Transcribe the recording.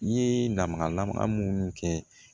I ye lamaga lamɛn munnu kɛ